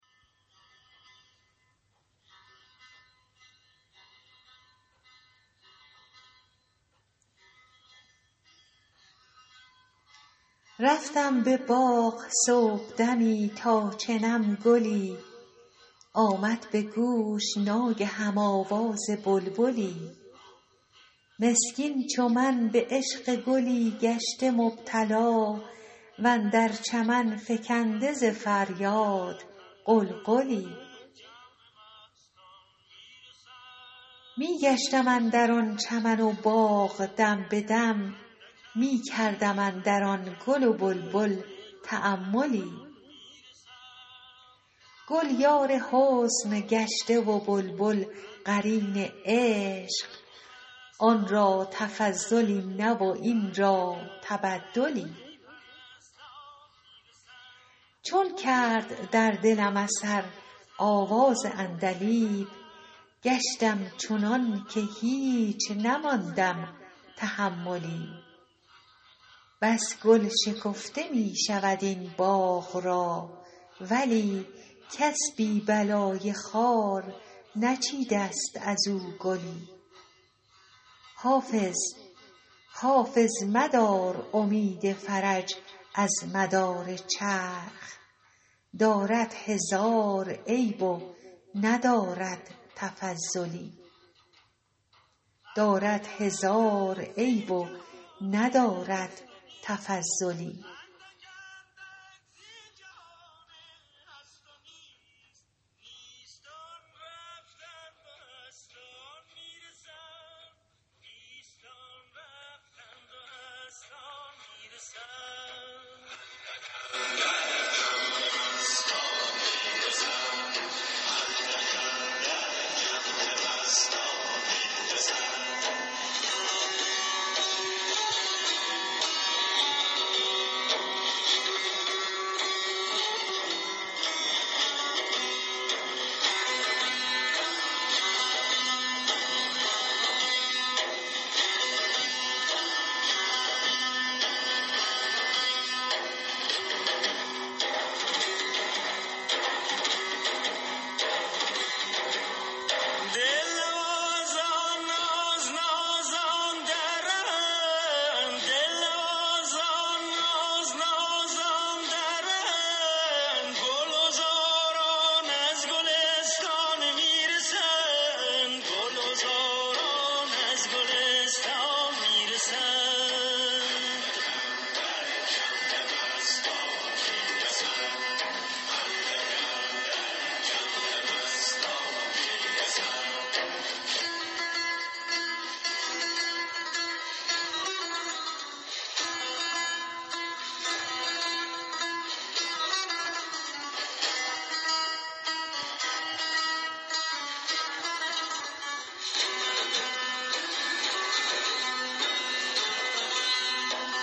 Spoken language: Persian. رفتم به باغ صبحدمی تا چنم گلی آمد به گوش ناگهم آواز بلبلی مسکین چو من به عشق گلی گشته مبتلا و اندر چمن فکنده ز فریاد غلغلی می گشتم اندر آن چمن و باغ دم به دم می کردم اندر آن گل و بلبل تاملی گل یار حسن گشته و بلبل قرین عشق آن را تفضلی نه و این را تبدلی چون کرد در دلم اثر آواز عندلیب گشتم چنان که هیچ نماندم تحملی بس گل شکفته می شود این باغ را ولی کس بی بلای خار نچیده ست از او گلی حافظ مدار امید فرج از مدار چرخ دارد هزار عیب و ندارد تفضلی